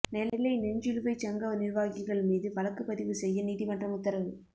நெல்லை செஞ்சிலுவைச் சங்க நிர்வாகிகள் மீது வழக்குப் பதிவு செய்ய நீதிமன்றம் உத்தரவு